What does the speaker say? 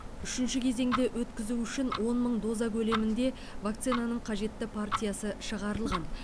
үшінші кезеңді өткізу үшін он мың доза көлемінде вакцинаның қажетті партиясы шығарылған